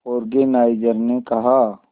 organiser ने कहा